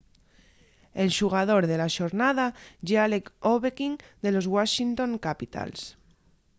el xugador de la xornada ye alex ovechkin de los washington capitals